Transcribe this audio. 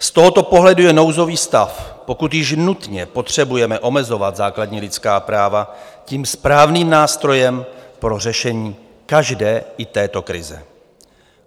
Z tohoto pohledu je nouzový stav, pokud již nutně potřebujeme omezovat základní lidská práva, tím správným nástrojem pro řešení každé, i této krize.